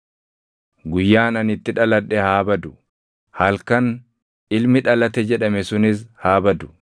“Guyyaan ani itti dhaladhe haa badu; halkan, ‘Ilmi dhalate!’ jedhame sunis haa badu.